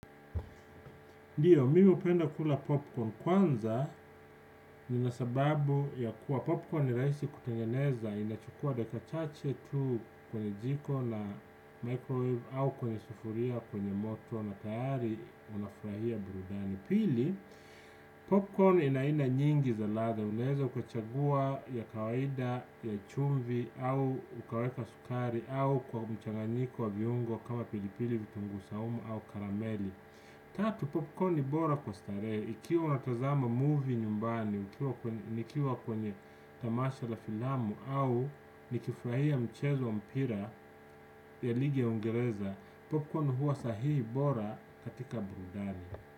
Ndiyo mimi hupenda kula popcorn kwanza nina sababu ya kuwa popcorn ni rahisi kutengeneza inachukua dakika chache tu kwenye jiko la microwave au kwenye sufuria kwenye moto na tayari unafurahia burudani pili popcorn ina aina nyingi za ladha unaeza ukachagua ya kawaida ya chumvi au ukaweka sukari au kwa mchanganiko wa viungo kama pili pili vitungu saumu au karameli tatu popcorn ni bora kwa starehe ikiwa unatazama movie nyumbani, nikiwa kwenye tamasha la filamu au nikifurahia mchezo mpira ya ligi ya uingereza, popcorn huwa sahihi bora katika burudani.